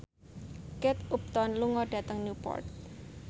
Kate Upton lunga dhateng Newport